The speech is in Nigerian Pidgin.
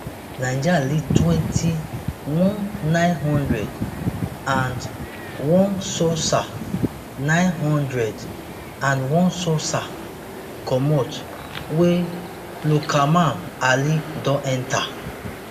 niger lead twenty-one nine hundred and onesossah nine hundred and onesossah comot wey loukeman ali don enta